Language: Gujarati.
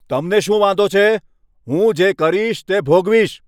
તમને શું વાંધો છે? હું જે કરીશ તે ભોગવીશ.